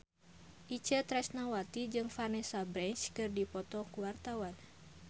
Itje Tresnawati jeung Vanessa Branch keur dipoto ku wartawan